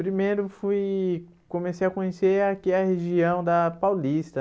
Primeiro fui comecei a conhecer aqui a região da Paulista.